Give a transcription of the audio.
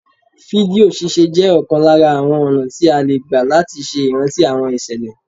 Fídíò ṣíṣe jẹ́ ọ̀kan lára àwọn ọ̀nà tí a lè gbà láti ṣe ìrántí àwọn ìṣẹ̀lẹ̀